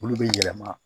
Olu bɛ yɛlɛma